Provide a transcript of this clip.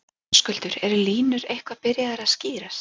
Höskuldur, eru línur eitthvað byrjaðar að skýrast?